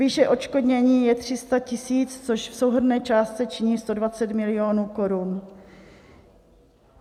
Výše odškodnění je 300 000, což v souhrnné částce činí 120 milionů korun.